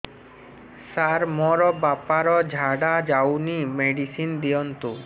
ସାର ମୋର ବାପା ର ଝାଡା ଯାଉନି ମେଡିସିନ ଦିଅନ୍ତୁ